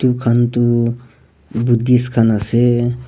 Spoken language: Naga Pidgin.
khan tu buddies khan ase.